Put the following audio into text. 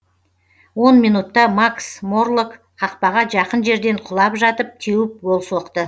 он минутта макс морлок қақпаға жақын жерден құлап жатып теуіп гол соқты